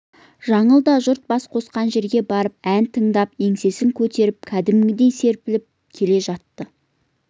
жаңыл да жұрт бас қосқан жерге барып ән тыңдап еңсесін көтеріп кәдімгідей серпіліп келе жатты